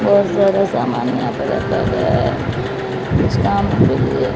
बहोत सारा सामान यहां पर रखा गया है कुछ काम के लिए--